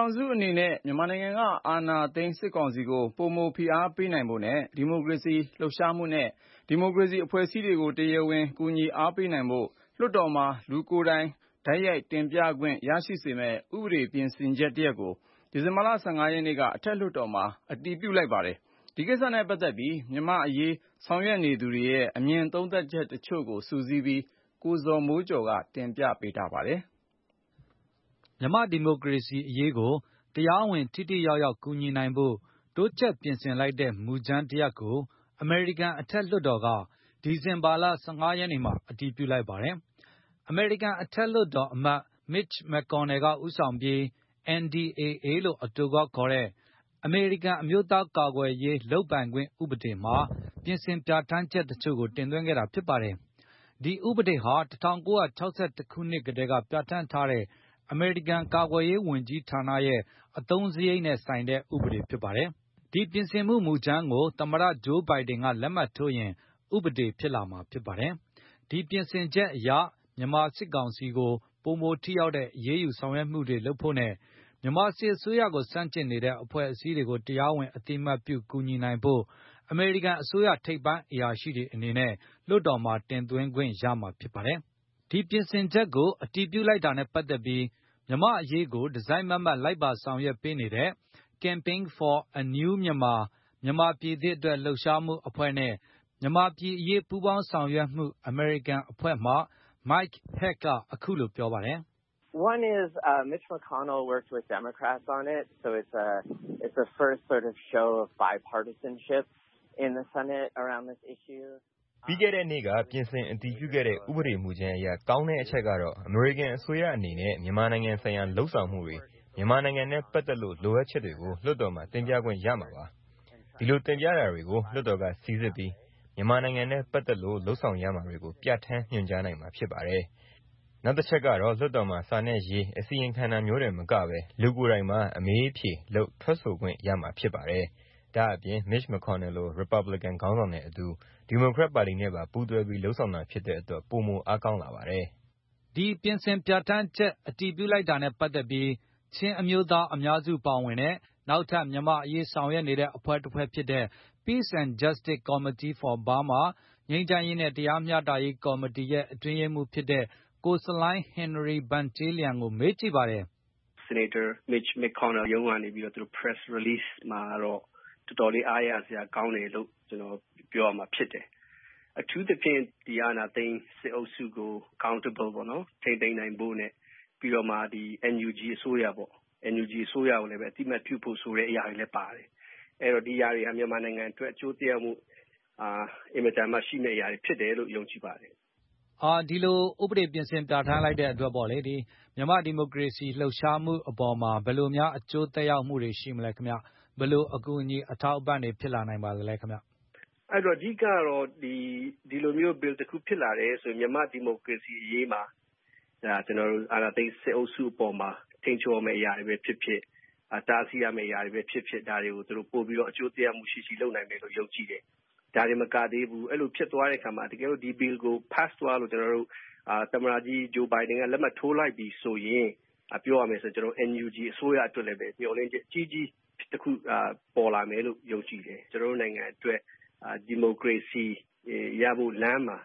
ောင်စုအနေနဲ့ မြန်မာနိုင်ငံက အာဏာသိမ်းစစ်ကောင်စီကိုပိုမိုဖိအားပေး နိုင်ဖို့နဲ့ ဒီမိုကရေစီလှုပ်ရှားမှုနဲ့ ဒီမိုကရေစီအဖွဲ့အစည်းတွေကိုတရားဝင်ကူညီအား ပေးနိုင်ဖို့ လွှတ်တော်မှာလူကိုယ်တိုင်တိုက်ရိုက်တင်ပြခွင့်တွေရရှိမယ့် ဥပဒေပြင်ဆင်ချက် တရပ်ကို ဒီဇင်ဘာလ ၁၅ ရက်နေ့ကအထက်လွှတ်တော်မှာ အပြည်ပြုလိုက်ပါတယ်။ဒီကိစ္စနဲ့ပတ်သက်ပြီး မြန်မာအရေးဆောင်ရွက်နေသူတွေရဲ့ အမြင်သုံးသပ်ချက်တချို့ကို ကိုဇော်မိုးကျော်က စုစည်းတင်ပြပေးပါမယ်။ မြန်မာ့ဒီမိုကရေစီအရေးကို တရားဝင်ထိထိရောက်ရောက်ကူညီနိုင်ဖို့ တိုးချဲ့ပြင်ဆင်လိုက်တဲ့ မူကြမ်းတရပ်ကို အမေရိကန်အထက်လွှတ်တော်က ဒီဇင်ဘာ ၁၅ ရက်နေ့မှာ အတည်ပြု လိုက်ပါတယ်။ အမေရိကန်အထက် လွှတ်တော်အမတ် Mitch McConnell ကဦးဆောင်ပြီး NDAA လို့အတိုကောက်ခေါ်တဲ့ အမေရိကန်အမျိုးသားကာကွယ်ရေးလုပ်ပိုင်ခွင့်ဥပဒေမှာ ပြင်ဆင်ပြဌာန်းချက်တချို့ကို တင်သွင်းခဲ့တာပါ။ ဒီဥပဒေဟာ ၁၉၆၁ ခုနှစ်ကတည်းက ပြဌာန်းထားတဲ့ အမေရိကန်ကာကွယ်ရေးဝန်ကြီးဌာနရဲ့ အသုံးစားရိတ်ဆိုင်တဲ့ဥပေဒဖြစ် ပါတယ်။ဒီပြင်ဆင်မှုမူကြမ်းကို သမတ Joe Biden ကလက်မှတ်ထိုးရင် ဥပဒေဖြစ်လာ မှာဖြစ်ပါတယ်။ ဒီပြင်ဆင်ချက်အရ မြန်မာစစ်ကောင်စီကိုပိုမိုထိရောက်တဲ့ အရေးယူဆောင်ရွက်မှုတွေလုပ်ဖို့နဲ့၊ မြန်မာစစ်အစိုးရကိုဆန့်ကျင်နေတဲ့ အဖွဲ့အစည်းတွေကိုတရားဝင်အသိအမှတ်ပြုကူညီနိုင်ဖို့ အမေရိကန်အစိုးရထိပ်ပိုင်းအရာရှိတွေအနေနဲ့ လွှတ်တော်မှာတင်သွင်းခွင့်ရမှာဖြစ်ပါတယ်။ ဒီပြင်ဆင်ချက်ကို အတည်ပြုလိုက်တာနဲ့ပတ်သက်ပြီး မြန်မာ့အရေးကိုတစိုက်မတ်မတ် လိုက်ပါဆောင်ပေးနေတဲ့ Campaign for a New Myanmar မြန်မာပြည်သစ်အတွက် လှုပ်ရှားမှုအဖွဲ့နဲ့ မြန်မာပြည်အရေးပူး ပေါင်းဆောင်ရွက်မှုအမေရိကန်အဖွဲ့မှ Mike Hack ကအခုလိုပြောပါတယ်။ “ပြီးခဲ့တဲ့နေ့က ပြင်ဆင်အတည်ပြုခဲ့တဲ့ ဥပဒေမူကြမ်းအရ ကောင်းတဲ့အချက်ကတော့ အမေရိကန်အစိုးရအနေနဲ့ မြန်မာနိုင်ငံဆိုင်ရာလုပ်ဆောင်မှုတွေ၊ မြန်မာနိုင်ငံနဲ့ပတ်သက်လို့ လိုအပ်ချက်တွေကိုလွှတ်တော်မှာတင်ပြခွင့်ရမှာပါ။ ဒီလိုတင်ပြတာတွေကို လွှတ်တော် ကစီစစ်ပြီး၊ မြန်မာပြည်နဲ့ပတ်သက်လို့ လုပ်ဆောင်ရမှာတွေကို ပြဌာန်းညွှန်ကြားနိုင်မှာဖြစ် ပါတယ်။ နောက်တချက်ကတော့ လွှတ်တော်မှာစာနဲ့ရေးအစီရင်ခံတာမျိုးတင်မကဘဲ။ လူကိုယ်တိုင်ပါ အမေးအဖြေလုပ်ထွက်ဆိုခွင့်ရမှာဖြစ်ပါတယ်။ ဒါ့အပြင် Mitch MaConnel လိုရစ်ပတ်ဘလစ်ကန် ခေါင်းဆောင်နဲ့အတူဒီမိုကရက်ပါတီနဲ့ပါပူးတွဲပြီး လုပ်ဆောင်တာဖြစ်တဲ့ အတွက် ပိုမိုအားကောင်းလာပါတယ်။” ဒီပြင်ဆြင်ပဌာန်းချက်အတည်ပြုလိုက်တာနဲ့ပတ်သက်ပြီး ချင်းအမျိုးသားအများစုပါဝင်တဲ့ နောက်ထပ်မြန်မာအရေး ဆောင်ရွက်နေတဲ့အဖွဲ့တဖွဲ့ဖြစ်တဲ့ Peace and Justice Committee for Burma ငြိမ်းချမ်းရေးနဲ့တရားမျှတရေးကော်မတီရဲ့အတွင်းရေးမှုးဖြစ်တဲ့ ဆလိုင်းဟင်နရီဗန်ကျဲလျန် ကိုမေးကြည်ပါတယ်။ “ဆီနိတ်တာ Mitch McConnel ရဲ့ရုံးရဲသတင်းထုတ်ပြန်ချက်ကတော့ အတော်လေးအားရစရာ ကောင်းတယ်၊ ကျနော်တို့ပြောရမှာဖြစ်တယ်။ အထူးသဖြင့်ဒီအာဏာသိမ်း စစ်အုပ်စုကို Accountable ပေါ့နော် ထိန်းသိမ်းနိုင်ဖို့နဲ့ ပြီးတော့မှဒီ NUG အစိုးရပေါ့၊ NUG အစိုးရကိုလည်း အသိအမှတ်ပြုဖို့ ဆိုတဲ့အရာတွေလည်းပါတယ်။ အဲဒိတော့ဒီဟာတွေဟာမြန်မာနိုင်ငံအတွက် အကျိုးသက်ရောက် မှုအင်မတန်မှရှိမယ့် အရာတွေဖြစ်မယ်လို့ယုံကြည်ပါတယ်။” ဒီလို ဥပဒေပြင်ဆင်ပြဌာန်းလိုက်တဲ့အတွက် မြန်မာ့ဒီမိုကရေစီအရေးအပေါ်မှာဘယ်လို အကူ အညီအထောက်အပံတွေဖြစ်လာနိုင်ပါလဲ။ “အဓိကိကကတော့ ဒီလို့မျိုး Bill တခုဖြစ်လာတယ်ဆိုရင် မြန်မာ့ဒီမိုကရေစီ အရေးမှာကျနော်တို့ အာဏာသိမ်းစစ်အုပ်စုအပေါ်မှာ ထိန်းချုပ်မယ့်အရာတွေဘဲဖြစ်ဖြစ်။ တားဆီးရမယ့်အရာတွေဘဲဖြစ်ဖြစ်၊ ဒါတွေကိုသူတို့ပိုပြီးတော့ အကျိုးသက်ရောက်မှုရှိရှိ လုပ်နိုင်မယ်လို့ယုံကြည့်တယ်။ ဒါတင်မကသေးဘူး အဲလိုဖြစ်သွားတဲ့အခါမှာ တကယ်လို့ဒီ bill ကို သမတကြီး Joe Biden ကလက်မှတ်ထိုးလိုက်ပြီဆိုရင် NUG အစိုးရအတွက်လည်း မျှော်လင့်ချက်အကြီးကြီး တခုပေါ်လာမယ်လို့ယုံတယ်။ ကျနော်တို့နိုင်ငံအတွက် ဒီမိုကရေစီ ရဖို့လမ်းမှာ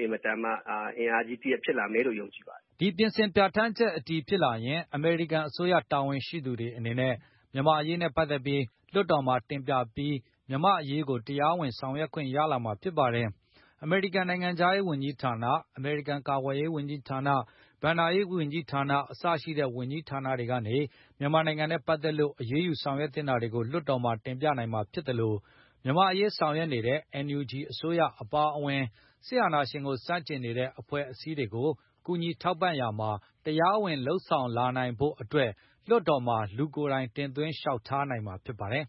အင်မတန်မှအင်အားကြီးတရပ်ဖြစ်လာမယ်လို့ယုံကြည်ပါတယ်” ဒီဥပဒေပြင်ဆင်ပြဌာန်းချက်အတည်ဖြစ်လာရင် အမေရိကန်အစိုးရတာဝန်ရှိသူတွေ အနေနဲ့ မြန်မာ့အရေးနဲ့ပတ်သက်ပြီး လွှတ်တော်မှာတင်ပြပြီး မြန်မာ့အရေးကို တရားဝင်ဆောင်ရွက်ခွင့် ရလာမှာဖြစ်ပါတယ်။ အမေရိကန်နိုင်ငံခြားရေးဝန်ကြီးဌာန၊ အမေရိကန်ကာကွယ်ရေး ဝန်ကြီး ဌာန၊ ဘဏ္ဌာရေးဝန်ကြီးဌာန စတဲ့ဝန်ကြီးဌာနတွေကနေ မြန်မာနိုင်ငံနဲ့ပတ်သက်လို့ အရေးယူ ဆောင်ရွက်သင့်တာတွေကို လွှတ်တော်မှာတင်ပြနိုင်မှာဖြစ်သလို၊ မြန်မာ့အရေးဆောင် ရွက်နေတဲ့ NUG အစိုးရပါအဝင်၊ စစ်အာဏာရှင်ကိုဆန့်ကျင်နေတဲ့အဖွဲ့အစည်းတွေကို ကူညီ ထောက်ပံရာမှာ တရားဝင်လုပ်ဆောင်နိုင်လာနိုင်ဖို့လွှတ် တော်မှာလူကိုယ်တိုင်သွင်းလျောက် ထားနိုင်မှာဖြစ်ပါတယ်။